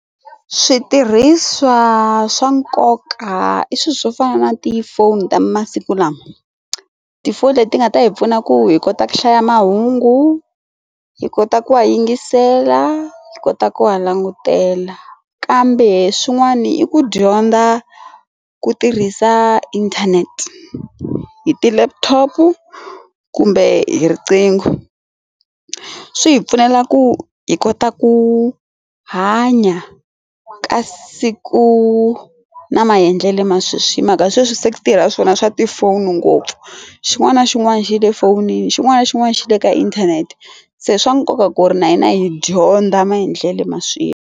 Switirhisiwa swa nkoka i swilo swo fana na tifoni ta masiku lama tifoni leti nga ta hi pfuna ku hi kota ku hlaya mahungu hi kota ku va yingisela hi kota ku ha langutela kambe swin'wana i ku dyondza ku tirhisa inthanete hi ti laptop kumbe hi riqingho swi hi pfumela ku hi kota ku hanya kasi ku na maendlelo ma sweswi hi mhaka sweswi se ku tirha swona swa tifoni ngopfu xin'wana na xin'wana xi le fonini xin'wana na xin'wana xi le ka inthanete se swa nkoka ku ri na hina hi dyondza maendlelo ma swilo.